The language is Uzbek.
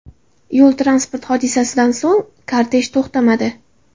Yo‘l-transport hodisasidan so‘ng kortej to‘xtamadi.